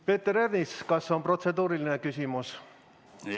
Peeter Ernits, kas on protseduuriline küsimus?